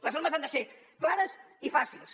les normes han de ser clares i fàcils